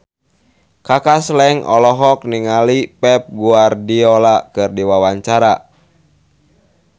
Kaka Slank olohok ningali Pep Guardiola keur diwawancara